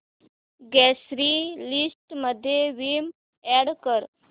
grocery list मध्ये Vim add कर